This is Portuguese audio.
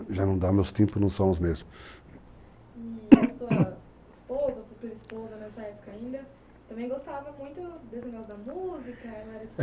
já não dá, meus tímpanos não são os mesmos. E, a sua esposa, futura esposa nessa época ainda, também gostava muito desse negócio da música?